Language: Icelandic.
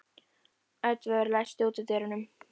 Oddvör, læstu útidyrunum.